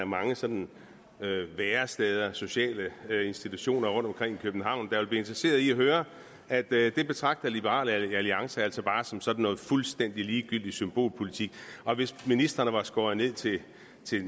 mange sådan væresteder sociale institutioner rundtomkring i københavn være interesseret i at høre at det betragter liberal alliance altså bare som sådan noget fuldstændig ligegyldigt symbolpolitik og at hvis ministrene var skåret ned til